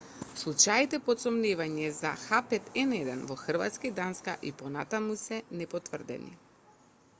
случаите под сомневање за h5n1 во хрватска и данска и понатаму се непотврдени